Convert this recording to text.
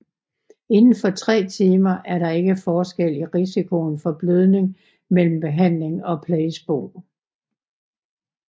Indenfor 3 timer er der ikke forskel i risikoen for blødning mellem behandling og placebo